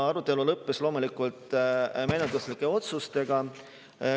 Arutelu lõppes loomulikult menetluslike otsustega.